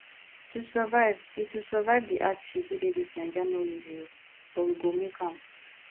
to survive di to survive di hardship wey dey dis naija no easy o but we go make am